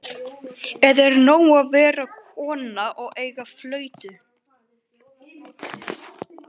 Eða er nóg að vera kona og eiga flautu?